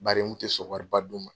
Bari u tɛ sɔn wari ba dun ma.